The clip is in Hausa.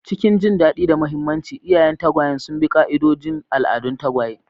Cikin jin daɗi da mahimmanci, iyayen tagwayen sun bi ƙa'idodin al'adun tagwaye